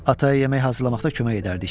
Ataya yemək hazırlamaqda kömək edərdik.